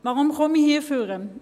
Warum komme ich nach vorne?